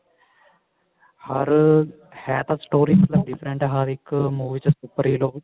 ਹਰ ਹੈ ਤਾਂ story different ਹੈ ਮਤਲਬ ਹਰ ਇੱਕ movie ਚ super hero